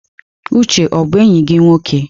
Uche ọ bụ enyi gị nwoke?